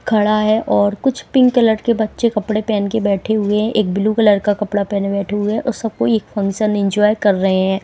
खड़ा है और कुछ पिंक कलर के बच्चे कपड़े पहन के बैठे हुए हैं एक ब्लू कलर का कपड़ा पहनें बैठे हुए हैं और सब कोई एक फंक्शन इंजॉय कर रहे हैं।